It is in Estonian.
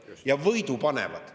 Ja võidu panevad.